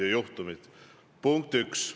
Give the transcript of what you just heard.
See on punkt 1.